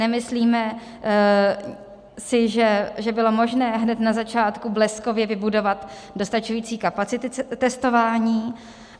Nemyslíme si, že bylo možné hned na začátku bleskově vybudovat dostačující kapacity testování.